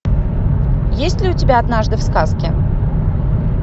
есть ли у тебя однажды в сказке